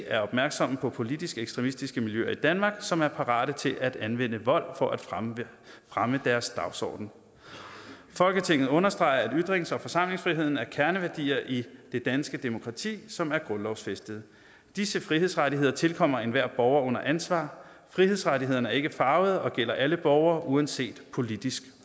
er opmærksomme på politisk ekstremistiske miljøer i danmark som er parate til at anvende vold for at fremme fremme deres dagsorden folketinget understreger at ytrings og forsamlingsfriheden er kerneværdier i det danske demokrati som er grundlovsfæstede disse frihedsrettigheder tilkommer enhver borger under ansvar frihedsrettighederne er ikke farvede og gælder alle borgere uanset politisk